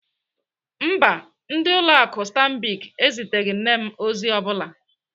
Mba, ndị ụlọ akụ Stanbic eziteghị nne m ozi ọ bụla.